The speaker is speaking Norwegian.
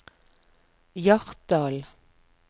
Hjartdal